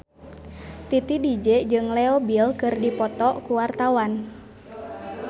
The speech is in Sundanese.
Titi DJ jeung Leo Bill keur dipoto ku wartawan